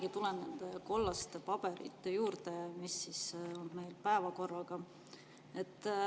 Ma tulen jälle nende kollaste paberite juurde, millel on meil päevakord.